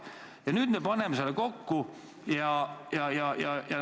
Aga nüüd me paneme selle kokku.